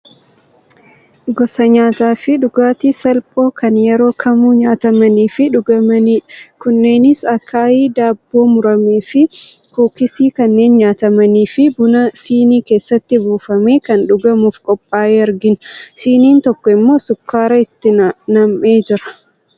Gosa nyaataafi dhugaatii salphoo kan yeroo kamuu nyaatamanii fi dhugamanidha. Kunneenis akaayii, daabboo murame fi kuukisii kanneen nyaatamanii fi buna sinii keessatti buufame kan dhugamuuf qophaaye argina. Siniin tokko immoo sukkaara itti nam'ee jira.